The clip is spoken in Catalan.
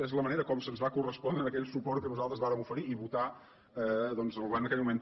és la manera com se’ns va correspondre aquell suport que nosaltres vàrem oferir i votar doncs al govern d’aquell moment